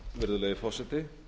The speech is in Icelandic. virðulegi forseti